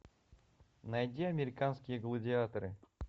найди американские гладиаторы